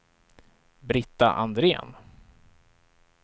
Britta Andrén